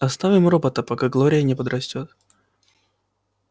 оставим робота пока глория не подрастёт